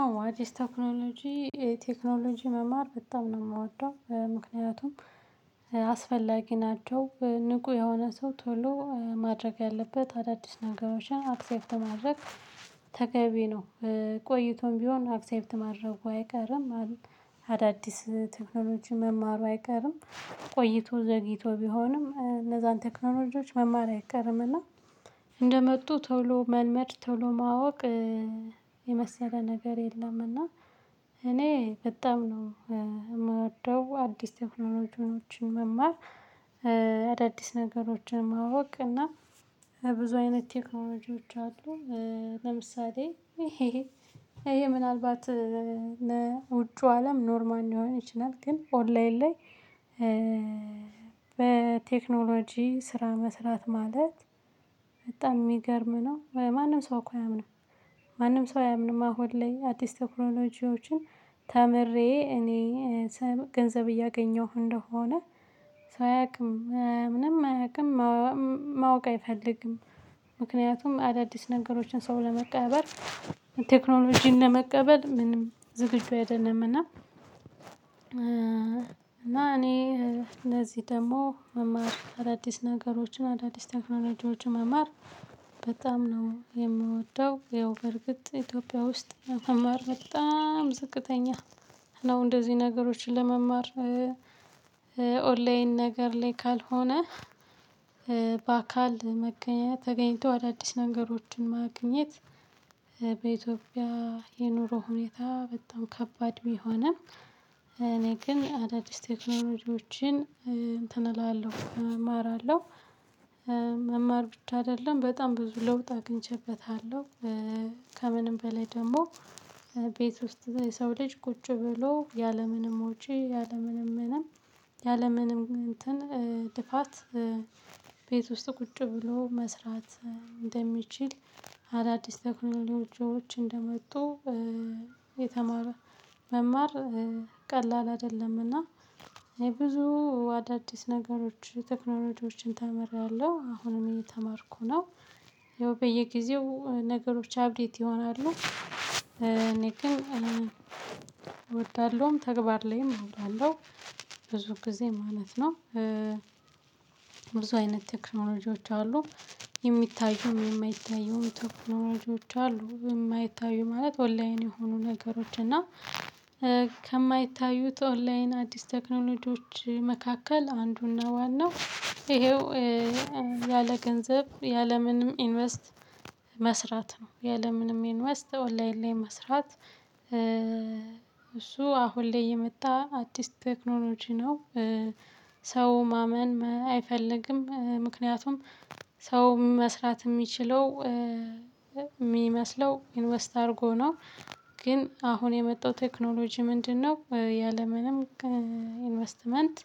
አዎ አዲስ ቴክኖሎጂ ቴክኖሎጂ መማር በጣም ነው የምወደው ምክንያቱም እ አስፈላጊ ናቸው ንቁ የሆነ ሰው ቶሎ ማድረግ ያለበት አዳዲስ ነገሮችን አክሴፕት ማድረግ ተገቢ ነው። ቆይቶም ቢሆን አክሰፕት ማድረጉ አይቀርም። አዳዲስ ቴክኖሎጂ መማሩ አይቀርም ቆይቶ ዘግይቶ ቢሆንም እነዛን ቴክኖሎጂዎች መማር አይቀርምና። እንደመጡ ቶሎ መልመድ ቶሎ ማወቅ እ የመሰለ ነገር የለም። እና እኔ በጣም ነው የምወደው አዲስ ቴክኖሎጂዎችን መማር። አዳዲስ ነገሮችን ማወቅ እና ብዙ አይነት ቴክኖሎጂዎች አሉ። ለምሳሌ ይሄ ምናልባት ውጪው አለም ኖርማል ሊሆን ይችላል። ግን ኦንላይን ላይ እ በቴክኖሎጂ ስራ መስራት ማለት በጣም የሚገርም ነው በማንም ሰው እኮ አያምንም። ማንም ሰው አያምንም። አሁን ላይ አዲስ ቴክኖሎጂዎችን ተምሬ እኔ ገንዘብ እያገኘሁ እንደሆነ ሰው አያውቅም ምንም አያውቅም። ማወቅ አይፈልግም። ምክንያቱም አዳዲስ ነገሮችን ሰው ለመቀበል ቴክኖሎጂን ለመቀበል ምንም ዝግጁ አይደለምና። እ እና እኔ እንደዚህ ደግሞ መማር አዳዲስ ነገሮችን አዳዲስ ቴክኖሎጂዎች መማር በጣም ነው የምወደው። ይኸው በርግጥ ኢትዮጵያ ውስጥ መማር በጣም ዝቅተኛ ነው። እንደዚህ ነገሮችን ለመማር ኦንላይን ነገር ላይ ካልሆነ በአካል መገኘት ተገኝቶ አዳዲስ ነገሮችን ማግኘት። በኢትዮጵያ የኑሮ ሁኔታ በጣም ከባድ ቢሆንም እኔ ግን አዳዲስ ቴክኖሎጂዎችን እንትን እላለሁ እማራለሁ። መማር ብቻ አይደለም በጣም ብዙ ለውጥ አግኝቼበታለሁ። ኧ ከምንም በላይ ደግሞ ቤት ውስጥ የሰው ልጅ ቁጭ ብሎ ያለምንም ወጪ ያለምንም ምንም ያለምንም እንትን ልፋት። ቤት ውስጥ ቁጭ ብሎ መስራት እንደሚችል። አዳዲስ ቴክኖሎጂዎች እንደመጡ የተማረ መማር ቀላል አይደለምና። ብዙ አዳዲስ ነገሮች ቴክኖሎጂዎችን ተምሬያለሁ አሁንም እኔ እየተማርኩ ነው። ያው በየጊዜው ነገሮች አፕዴት ይሆናሉ። እኔ ግን እወዳለሁም ተግባር ላይም አውላለሁ። ብዙ ጊዜ ማለት ነው። ብዙ አይነት ቴክኖሎጂዎች አሉ። የሚታዩም የማይታየውም ቴክኖሎጂዎች አሉ የማይታዩ ማለት ኦንላይን የሆኑ ነገሮች እና ከማይታዩት ኦንላይን አዲስ ቴክኖሎጂዎች መካከል አንዱና ዋናው ይሄው። ያለ ገንዘብ ያለ ምንም ኢንቨስት መስራት ነው ያለ ምንም ኢንቨስት ኦንላይን ላይ መስራት። እሱ አሁን ላይ የመጣ አዲስ ቴክኖሎጂ ነው። ሰው ማመን መ አይፈልግም። ምክንያቱም ሰው መስራት የሚችለው እ ሚመስለው ኢንቨስት አድርጎ ነው። ግን አሁን የመጣው ቴክኖሎጂ ምንድነው? ያለምንም እ ኢንቨስትመንት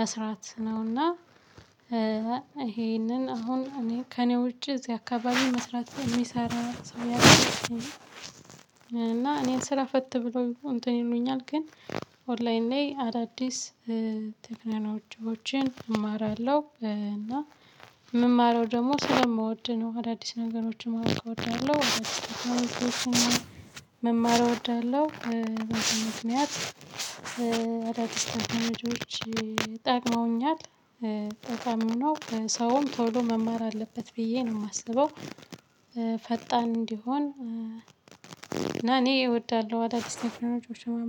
መስራት ነውና። ይሄንን አሁን እኔ ከእኔ ውጪ እዚህ አካባቢ መስራት የሚሰራ ሰውየው። እና እኔን ስራ ፈት ብሎ እንትን ይሉኛል ግን። ኦንላይን ላይ አዳዲስ እ ቴክኖሎጂዎችን እማራለሁ። እና የምማረው ደግሞ ስለምወድ ነው። አዳዲስ ነገሮችን ማወቅ እወዳለሁ። አዳዲስ ቴክኖሎጂዎችን መማር እወዳለሁ። በዚህ ምክንያት አዳዲስ ቴክኖሎጂዎች ጠቅመውኛል። ጠቃሚም ነው ሰውም ቶሎ መማር አለበት ብዬ ነው የማስበው። ፈጣን እንዲሆን እና እኔ እወዳለሁ አዳዲስ ቴክኖሎጂዎችን መማር